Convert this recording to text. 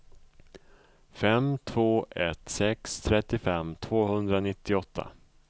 fem två ett sex trettiofem tvåhundranittioåtta